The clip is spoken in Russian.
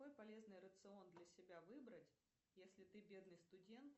какой полезный рацион для себя выбрать если ты бедный студент